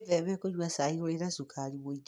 Wĩtheme kũnyua cai ũrĩ na cukari mũingĩ.